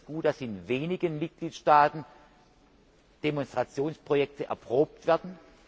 Wir finden es gut, dass in wenigen Mitgliedstaaten Demonstrationsprojekte erprobt werden.